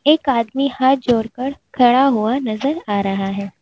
एक आदमी हाथ जोड़कर खड़ा हुआ नजर आ रहा है।